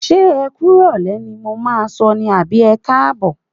Ṣé ẹ kú ìrọ̀lẹ́ ni mo máa sọ ní àbí ẹkáàbọ̀?